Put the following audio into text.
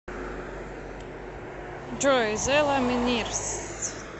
джой зэ ламинирс